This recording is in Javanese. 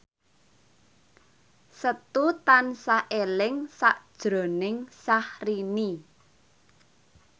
Setu tansah eling sakjroning Syahrini